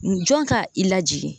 N jɔn ka i lajigin